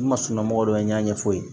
N ma sunɔgɔ dɔ ye n y'a ɲɛ f'u ye